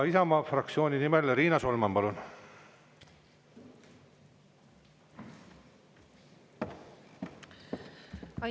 Isamaa fraktsiooni nimel Riina Solman, palun!